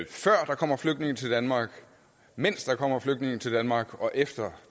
før der kommer flygtninge til danmark mens der kommer flygtninge til danmark og efter